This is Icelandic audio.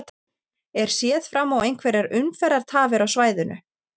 Er séð fram á einhverjar umferðartafir á svæðinu?